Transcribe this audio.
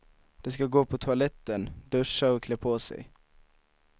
De ska gå på toaletten, duscha och klä på sig.